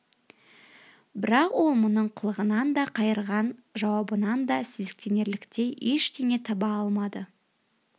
бірақ ол мұның қылығынан да қайырған жауабынан да сезіктенерліктей ешнәрсе таба алмады